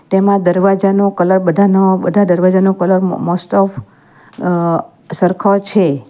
તેમાં દરવાજાનો કલર બધાનો બધા દરવાજાનો કલર મોસ્ટ ઓફ અહ સરખો છે.